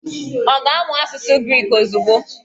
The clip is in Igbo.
Ọ ga-amụ asụsụ Griki ozugbo?